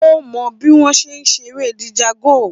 Ó mọ bí wọ́n ṣe ń ṣeré Django